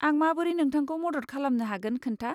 आं माबोरै नोंथांखौ मदद खालामनो हागोन खोन्था।